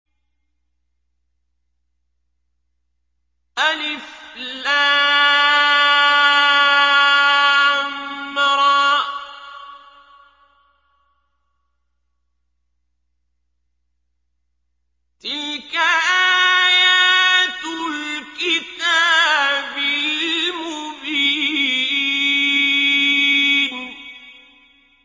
الر ۚ تِلْكَ آيَاتُ الْكِتَابِ الْمُبِينِ